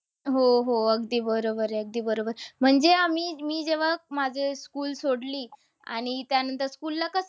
हो, हो. अगदी बरोबर आहे. अगदी बरोबर. म्हणजे आम्ही, मी जेव्हा मागे school सोडली. आणि त्यानंतर school ला कसं